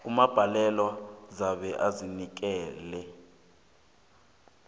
ummangalelwa uzabe azinikele